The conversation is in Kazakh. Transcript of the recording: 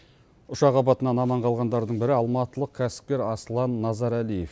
ұшақ апатынан аман қалғандардың бірі алматылық кәсіпкер аслан назаралиев